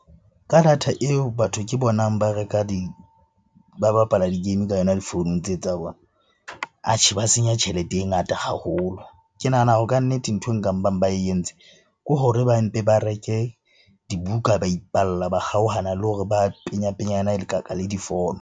Ka data eo batho ke bonang ba reka ba bapala di-game ka yona difounung tseo tsa bona, atjhe ba senya tjhelete e ngata haholo. Ke nahana hore kannete nthwe e nka mpang ba e entse ke hore ba mpe ba reke dibuka, ba ipalla. Ba kgaohana le hore ba penyapenyanekaka le difono.